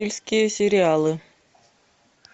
сериалы